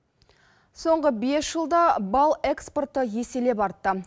соңғы бес жылда бал экспорты еселеп артты